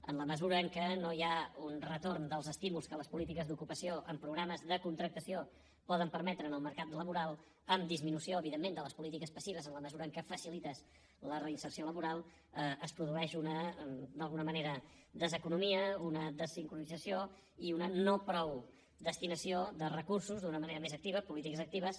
en la mesura que no hi ha un retorn dels estímuls que les polítiques d’ocupació amb programes de contractació poden permetre en el mercat laboral amb disminució evidentment de les polítiques passives en la mesura que facilites la reinserció laboral es produeix d’alguna manera una deseconomia una dessincronització i una no prou destinació de recursos d’una manera més activa a polítiques actives